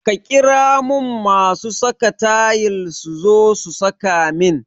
Ka ƙira mun masu saka tayil suzo su saka min